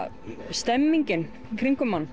stemningin í kringum mann